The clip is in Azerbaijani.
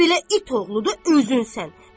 Belə it oğludu özünsən.